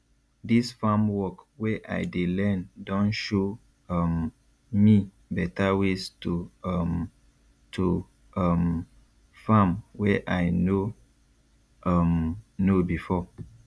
dis farm work wey i dey learn don show um me better ways to um to um farm wey i no um know before